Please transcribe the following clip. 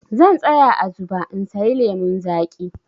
Zan tsaya a zuɓa in sayi lemun zaƙi.